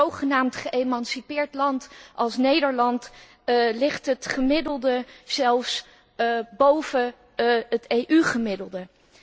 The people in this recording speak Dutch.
In een zogenaamd geëmancipeerd land als Nederland ligt het gemiddelde zelfs boven het EU gemiddelde.